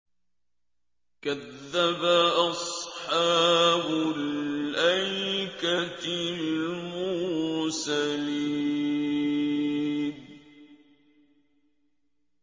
كَذَّبَ أَصْحَابُ الْأَيْكَةِ الْمُرْسَلِينَ